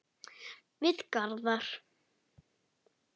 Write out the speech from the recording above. Við Garðar